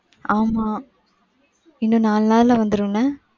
ஆமா, இன்னோ நாலு நாள்ல வந்துரும் என்ன.